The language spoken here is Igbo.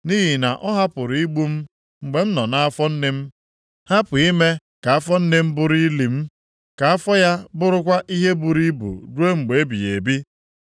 Nʼihi na ọ hapụrụ igbu m mgbe m nọ nʼafọ nne m, hapụ ime ka afọ nne m bụrụ ili m, ka afọ ya bụrụkwa ihe buru ibu ruo mgbe ebighị ebi.